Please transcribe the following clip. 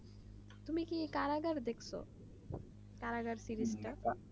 তুমি কি কারাগার দেখছো কারাগার series